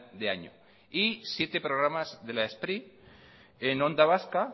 de año y siete programas de la spri en onda vasca